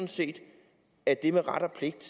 set at det med ret og pligt